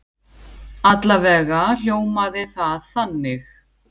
Alla vega hljómaði það þannig.